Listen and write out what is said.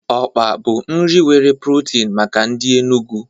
Okpa bụ nri nwere protin maka ndị Enugwu.